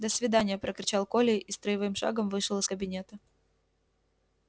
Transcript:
до свидания прокричал коля и строевым шагом вышел из кабинета